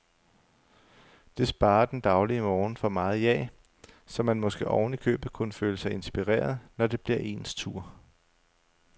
Det sparer den daglige morgen for meget jag, så man måske ovenikøbet kunne føle sig inspireret, når det bliver ens tur.